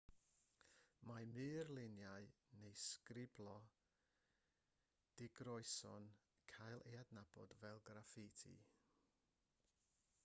mae murluniau neu sgriblo digroeso'n cael ei adnabod fel graffiti